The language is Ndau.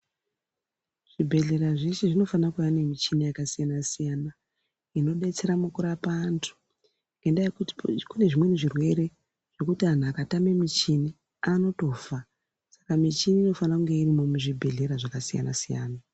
Zvibhehlera zveshe zvinofana kuva nemichina yakasiyana siyana inodetsera mukurapa antu ngendaa yekuti kunezvimweni zvirwere zvekuti antu akatame muchini anotofa saka michini inofana kunge irimo muzvibhehleya zvakasiyana siyana